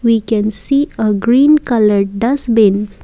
we can see a green colour dustbin.